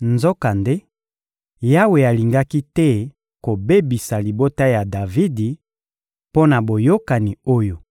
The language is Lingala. Nzokande, Yawe alingaki te kobebisa libota ya Davidi, mpo na boyokani oyo